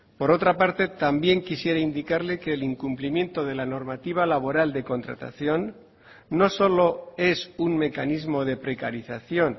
por otra parte también quisiera indicarle que el incumplimiento de la normativa laboral de contratación no solo es un mecanismo de precarización